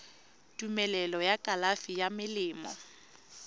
tumelelo ya kalafi ya melemo